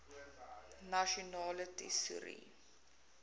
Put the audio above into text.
nasionale tesourie